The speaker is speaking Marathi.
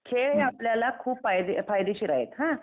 खेळ हे आपल्याला खूप फायदेशीर आहेत हां